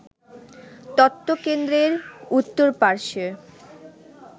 তথ্যকেন্দ্রের উত্তর পার্শ্বে